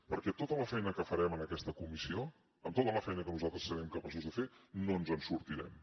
perquè tota la feina que farem en aquesta comissió amb tota la feina que nosaltres serem capaços de fer no ens en sortirem